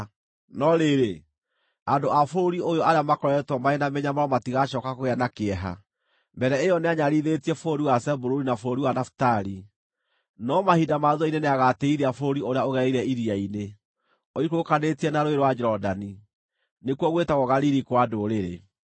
No rĩrĩ, andũ a bũrũri ũyũ arĩa makoretwo marĩ na mĩnyamaro matigacooka kũgĩa na kĩeha. Mbere ĩyo nĩanyararithirie bũrũri wa Zebuluni na bũrũri wa Nafitali, no mahinda ma thuutha-inĩ nĩagatĩĩithia bũrũri ũrĩa ũgereire iria-inĩ, ũikũrũkanĩtie na Rũũĩ rwa Jorodani, nĩkuo gwĩtagwo Galili-kwa-Ndũrĩrĩ: